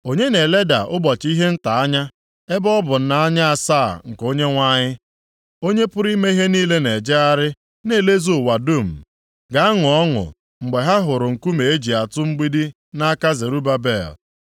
“Onye na-eleda ụbọchị ihe nta anya ebe ọ bụ nʼanya asaa nke Onyenwe anyị, Onye pụrụ ime ihe niile na-ejegharị na-elezu ụwa dum, ga-aṅụ ọṅụ mgbe ha hụrụ nkume eji atụ mgbidi nʼaka Zerubabel?”